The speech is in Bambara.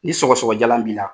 Ni sɔgɔsɔgɔ jalan b'i la.